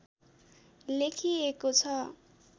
लेखिएको छ